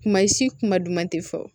Kuma si kuma duman tɛ fɔ